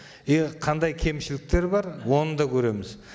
қандай кемшіліктері бар оны да көреміз